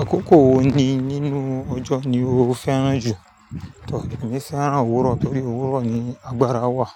Àkókò wo ni nínú ọjọ́ ni o fẹ́ràn jù? Tọ̀, èmi fẹ́ràn òwúrọ̀ torí òwúrọ̀ ni agbára wà.